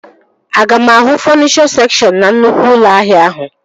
Aga m ahụ fọnichọ sekshọn na nnukwu ụlọ ahịa ahụ?